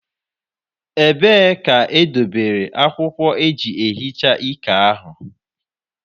Ebee ka ị dobere akwụkwọ eji ehicha iké ahụ?